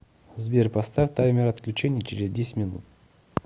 сбер поставь таймер отключения через десять минут